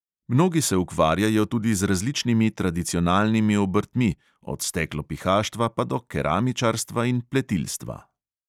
Mnogi se ukvarjajo tudi z različnimi tradicionalnimi obrtmi, od steklopihaštva pa do keramičarstva in pletilstva.